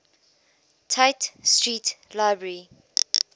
tite street library